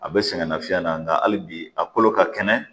A bɛ sɛgɛn nafiɲɛn na nka hali bi a kolo ka kɛnɛ